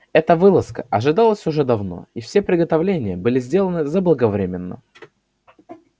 эта вылазка ожидалась уже давно и все приготовления были сделаны заблаговременно